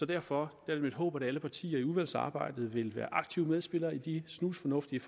derfor er det mit håb at alle partier i udvalgsarbejdet vil være aktive medspillere i de snusfornuftige